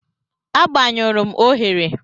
Agbanyụrụ m oghere.